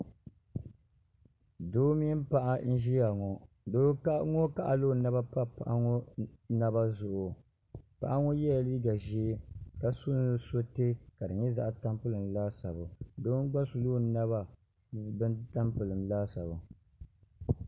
doo mini paɣa n ʒita ŋɔ doo ŋɔ kaɣala o naba pa paɣa ŋɔ naba zuɣu paɣa ŋɔ yɛla liiga ʒiɛ ka su nusuriti ka di nyɛ zaɣ tampilim laasabu doo n gba suluu ni na maa ka di nyɛ zaɣ tampilim laasabu